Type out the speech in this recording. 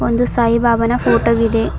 ಒಂದು ಸಾಯಿ ಬಾಬಾನ ಫೋಟೋ ವಿದೆ.